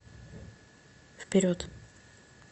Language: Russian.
вперед